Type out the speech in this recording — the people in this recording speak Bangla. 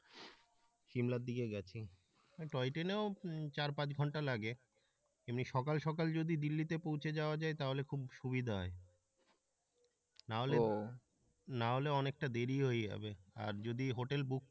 সিমলার দিকে গেছি ওই টয় ট্রেনেও চার-পাঁচ ঘন্টা লাগে এমনি সকাল সকাল যদি দিল্লিতে পৌঁছে যাওয়া যায় তাহলে খুব সুবিধা হয় ও না হলে অনেকটা দেরী হয়ে যাবে আর যদি হোটেল বুক,